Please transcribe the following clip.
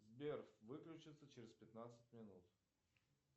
сбер выключится через пятнадцать минут